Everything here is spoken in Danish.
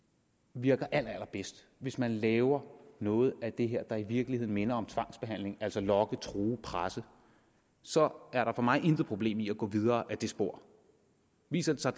virker allerallerbedst hvis man laver noget af det her der i virkeligheden minder om tvangsbehandling altså at lokke true og presse så er der for mig intet problem i at gå videre ad det spor viser det sig